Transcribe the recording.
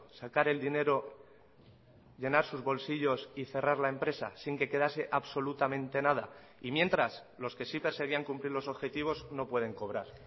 sacar el dinero llenar sus bolsillos y cerrar la empresa sin que quedase absolutamente nada y mientras los que sí perseguían cumplir los objetivos no pueden cobrar